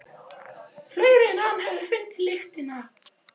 Fleiri en hann höfðu fundið lyktina.